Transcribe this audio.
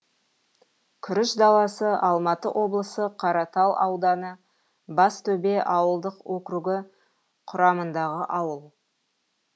күріш даласы алматы облысы қаратал ауданы бастөбе ауылдық округі құрамындағы ауыл